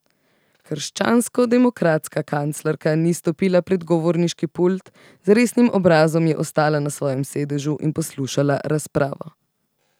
Krščanskodemokratska kanclerka ni stopila pred govorniški pult, z resnim obrazom je ostala na svojem sedežu in poslušala razpravo.